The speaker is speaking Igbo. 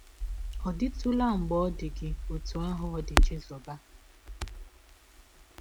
Ọ̀ dịtụla mgbe ọ dị gị ọtụ ahụ ọ dị Chizọba?